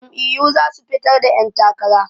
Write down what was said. Jam'iyyu za su fitar da 'yantakara.